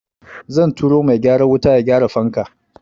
Zan turo mai gyaran wuta ya gyara fanka.